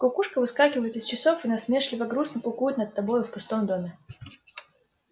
кукушка выскакивает из часов и насмешливо-грустно кукует над тобою в пустом доме